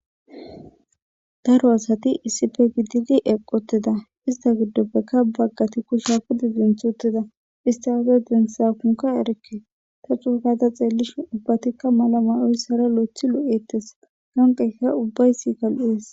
Daro asati issife gididi eqqoteda ista giddoppeka baggati kushsha kude zinth uttida istaafe densa kunka erke ta cuukada xeellishi ubbatikka malamay7oyssara lo7ethi lu7ettes hanqeyka ubbayssi .